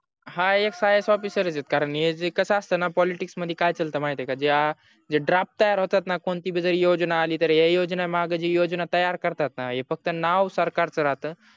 हा हे ias officer आहेत कारण कस असतणा politics मध्ये काय करत महित आहे का ज्या जे drop तयार होतात णा कोणती पण योजना आलीणा तर योजने मागे जी योजना तयार करतात णा हे फक्त नाव सरकारच राहत